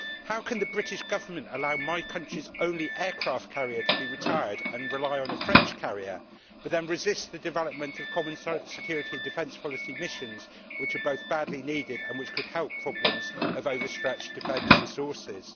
How can the British Government allow my country's only aircraft carrier to be retired and rely on a French carrier, but then resist the development of common security and defence policy missions, which are both badly needed and which could help problems of overstretched defence resources?